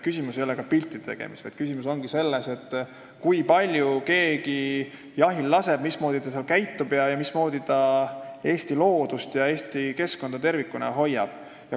Küsimus ei ole piltide tegemises, vaid küsimus ongi selles, kui palju keegi jahil laseb, mismoodi ta seal käitub ning mismoodi ta Eesti loodust ja keskkonda tervikuna hoiab.